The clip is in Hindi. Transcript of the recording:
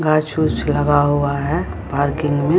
घांस-फूस लगा हुआ है पार्किंग में।